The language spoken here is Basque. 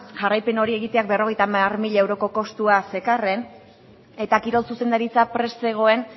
jarraipen hori egiteak berrogeita hamar mila euroko kostua zekarren eta kirol zuzendaritza prest zegoen